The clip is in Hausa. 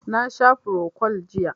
Na sha frocod jiya